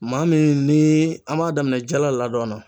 Maa min ni an b'a daminɛ jala ladɔn na.